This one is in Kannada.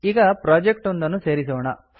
ಈಗ ಪ್ರೊಜೆಕ್ಟ್ ಒಂದನ್ನು ಸೇರಿಸೋಣ